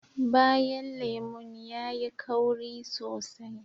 Bayan lemun yayi kauri sosai